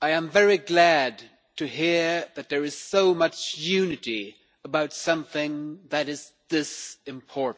I am very glad to hear that there is so much unity about something that is this important.